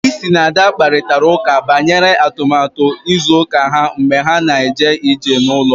Bisi na Ada kparịtara ụka banyere atụmatụ izu ụka ha mgbe ha na-eje ije n'ụlọ